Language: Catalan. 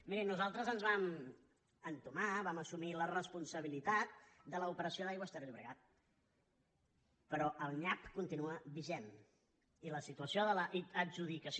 miri nosaltres vam entomar vam assumir la responsabilitat de l’operació d’aigües ter llobregat però el nyap continua vigent i la situació de l’adjudicació